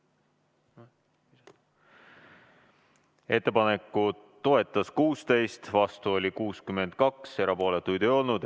Ettepanekut toetas 16, vastu oli 62, erapooletuid ei olnud.